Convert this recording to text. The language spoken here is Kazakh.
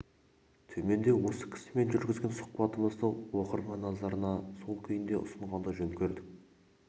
төменде осы кісімен жүргізген сұхбатымызды оқырман назарына сол күйінде ұсынғанды жөн көрдік